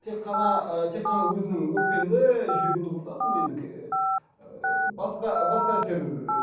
тек қана тек қана өзіңнің өкпеңді жүрегіңді құртасың енді ііі басқа басқа әсер ііі